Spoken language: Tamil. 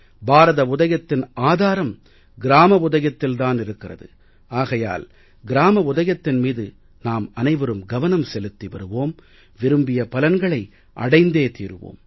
பாரத உதயத்தின் ஆதாரம் கிராம உதயத்தில் தான் இருக்கிறது ஆகையால் கிராம உதயத்தின் மீது நாம் அனைவரும் கவனம் செலுத்தி வருவோம் விரும்பிய பலன்களை அடைந்தே தீருவோம்